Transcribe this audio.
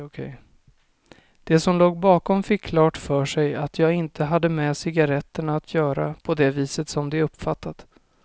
De som låg bakom fick klart för sig att jag inte hade med cigaretterna att göra på det viset som de uppfattat.